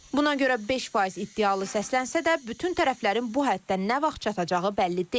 Buna görə 5% iddialı səslənsə də, bütün tərəflərin bu həddə nə vaxt çatacağı bəlli deyil.